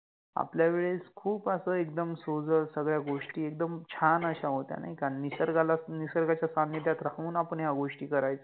आपल्यावेळेस खूप अस एकदम सोजळ सगळ्या गोष्टी एकदम छान अश्या होत्या नाहि का, निसर्गाला निसर्गाच्या सानिध्यात राहुन आपण ह्या गोष्टी करायचो